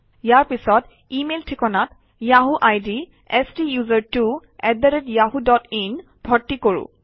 ইয়াৰ পিছত ইমেইল ঠিকনাত Yahoo ID STUSERTWOYAHOOIN ভৰ্তি কৰোঁ আহক